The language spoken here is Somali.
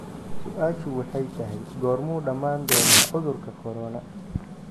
su'aashu waxay tahay goormuu dhamaan doonaa cudurkan corona?